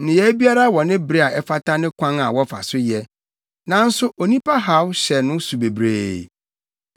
Nneyɛe biara wɔ ne bere a ɛfata ne kwan a wɔfa so yɛ, nanso onipa haw hyɛ no so bebree.